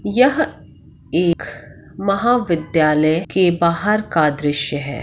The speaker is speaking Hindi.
यह एक महाविद्यालय के बाहर का दृश्य है।